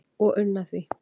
og unna því